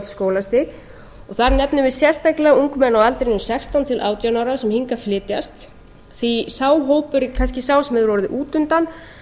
skólastig þar nefnum við sérstaklega ungmenni á aldrinum sextán til átján ára sem hingað flytjast því að sá hópur er kannski sá sem hefur orðið út undan